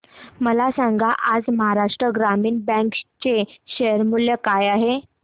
मला सांगा आज महाराष्ट्र ग्रामीण बँक चे शेअर मूल्य काय आहे